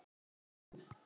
á mann.